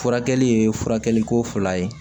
Furakɛli ye furakɛliko fila ye